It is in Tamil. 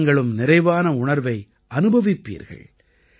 நீங்களும் நிறைவான உணர்வை அனுபவிப்பீர்கள்